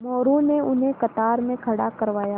मोरू ने उन्हें कतार में खड़ा करवाया